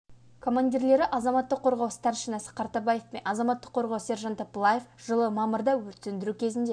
командирлері азаматтық қорғау старшинасы қартабаев пен азаматтық қорғау сержанты пылаев жылы мамырда өрт сөндіру кезінде